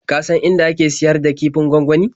Ka san inda ake siyar da kifin gwangwani?